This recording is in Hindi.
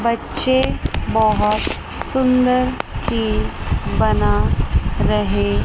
बच्चे बहोत सुंदर चीज बना रहे--